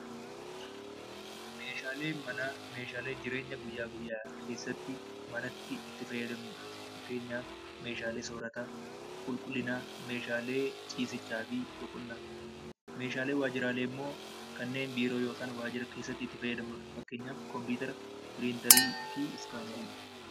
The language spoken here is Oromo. Meeshaaleen manaa meeshaalee jireenya guyyaa guyyaa keessatti, manatti itti fayyadamnudha. Fakkeenyaaf: meeshaalee soorataa, meeshaalee qulqullinaa, meeshaalee ciisichaa fi boqonnaa ta'uu danda'u. Meeshaaleen waajjiraalee immoo kanneen biiroo yookiin waajjiratti itti fayyadamnudha. Fakkeenyaaf: kompiitara, piriintarii fi iskaanarii kaasuun ni danda'ama.